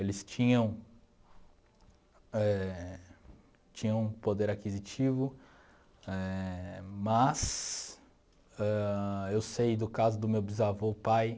Eles tinham eh tinham poder aquisitivo eh, mas ãh eu sei do caso do meu bisavô pai